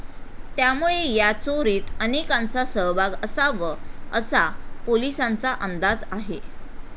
त्यामुळे या चोरीत अनेकांंचा सहभाग असाव असा पोलिसांचा अंदाज आहे.